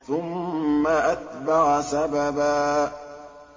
ثُمَّ أَتْبَعَ سَبَبًا